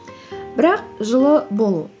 бірақ жылы болу